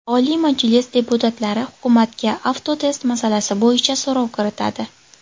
Oliy Majlis deputatlari hukumatga Avtotest masalasi bo‘yicha so‘rov kiritadi.